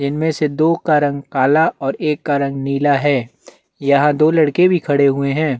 इनमें से दो का रंग काला और एक का रंग नीला है यहाँ दो लडके भी खड़े हुए है।